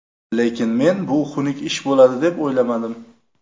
Lekin men bu xunuk ish bo‘ladi deb o‘yladim.